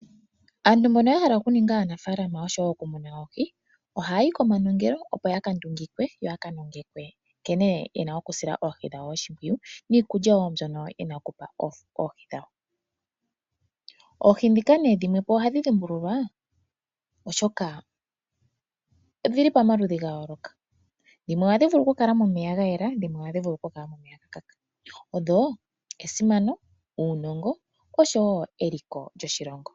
Aantu mbono ya hala okuninga aaanafaalama oshowo okumuna oohi ohaya yi komanongelo opo ya ka ndungikwe yo ya ka nongekwe nkene ye na okusila oohi dhawo oshimpwiyu niikulya mbyono ye na okupa oohi dhawo. Oohi ndhika dhimwe po ohadhi dhimbululwa, oshoka odhi li pamaludhi ga yooloka. Dhimwe ohadhi vulu okukala momeya ga yela dhimwe ohadhi vulu okukala momeya ga kaka. Odho esimano, uunongo oshowo eliko lyoshilongo.